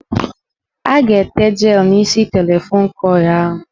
A ga-ete jelụ n' isi telefon kọị ahụ.